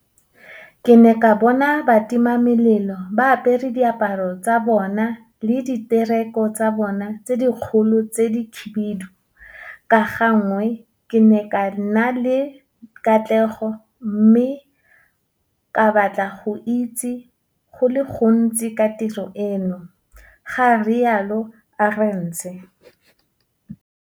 Ke ne ka bona batimamelelo ba apere diaparo tsa bona le diteroko tsa bona tse dikgolo tse dikhibidu, ka gangwe ke ne ka nna le kgatlhego mme ka batla go itse go le gontsi ka tiro eno, ga rialo Arendse.